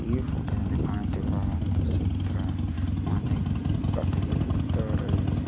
ಈ ಫೋಟೋ ಅಲ್ಲಿ ಕಾಣುತ್ತಿರುವ ಒಂದು ಚಿತ್ರ ಮನೆ ಕಟ್ಟುತ್ತಿದ್ದಾರೆ.